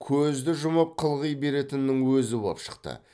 көзді жұмып қылғи беретіннің өзі боп шықты